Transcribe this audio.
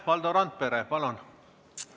Valdo Randpere, palun!